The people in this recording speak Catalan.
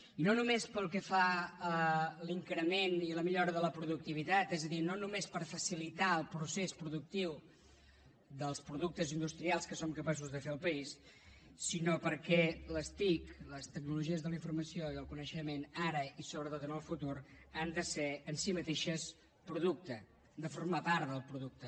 i no només pel que fa a l’increment i a la millora de la productivitat és a dir no només per facilitar el procés productiu dels productes industrials que som capaços de fer al país sinó perquè les tic les tecnologies de la informació i el coneixement ara i sobretot en el futur han de ser en si mateixes producte han de formar part del producte